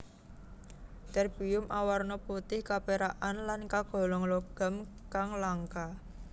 Terbium awarna putih kapérakan lan kagolong logam kang langka